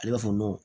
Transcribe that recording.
Ale b'a fɔ